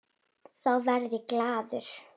Þá verð ég glaður.